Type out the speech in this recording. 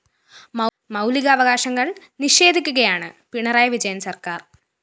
മൗലിക അവകാശങ്ങള്‍ നിഷേധിക്കുകയാണ് പിണറായി വിജയന്‍ സര്‍ക്കാര്‍